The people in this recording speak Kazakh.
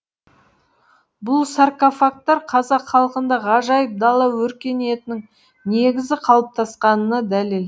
бұл саркофагтар қазақ халқында ғажайып дала өркениетінің негізі қалыптасқанына дәлел